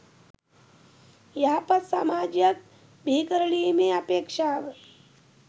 යහපත් සමාජයක් බිහිකරලීමේ අපේක්‍ෂාව